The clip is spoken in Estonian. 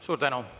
Suur tänu!